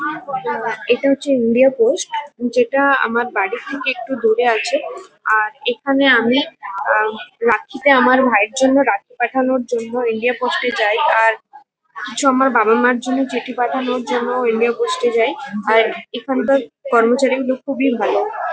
এটা হচ্ছে India post যেটা আমার বাড়ি থেকে একটু দূরে আছে। আর এখানে আমি আ রাখীতে আমার ভাইয়ের জন্য রাখী পাঠানোর জন্য ইয়ে করতে যাই। আর কিছু আমার বাবা-মার জন্য চিঠি পাঠানোর জন্য ই-মেল করতে যাই। আর এখানকার কর্মচারীগুলো খুবই ভালো।